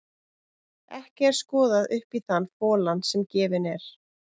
Ekki er skoðað upp í þann folann sem gefinn er.